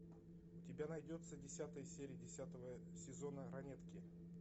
у тебя найдется десятая серия десятого сезона ранетки